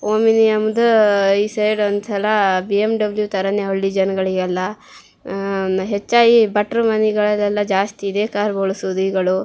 Omni ಎಂಬ್ದೂ ಈ side ಒಂದಸಲಾ ಬಿ.ಎಮ್.ಡಬ್ಳ್ಯು ತರನೆ ಹಳ್ಳಿ ಜನಗಳಿಗೆಲ್ಲಾ ಆಅ ಹೆಚ್ಚಾಗಿ ಭಟ್ಟ್ರ ಮನೆಗಳಲ್ಲಿ ಜಾಸ್ತಿ ಇದೆ ಕಾರ್ ಗಳು ಬಳಸೋದು ಈಗಳು.